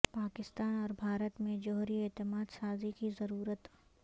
پاکستان اور بھارت میں جوہری اعتماد سازی کی ضرورت